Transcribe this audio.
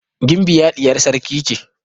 Gimbiya ɗiyar sarki ce.